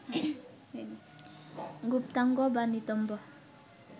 গুপ্তাঙ্গ বা নিতম্ব